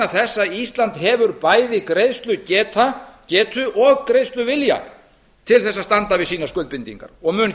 að ísland hefur bæði greiðslugetu og greiðsluvilja til þess að standa við sínar skuldbindingar og mun